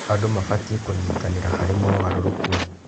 Andũ mabatiĩ kũnyitanĩra harĩ mogarũrũku.